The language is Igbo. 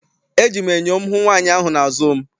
Eji m enyo m hụ nwaanyị ahụ n'azụ m.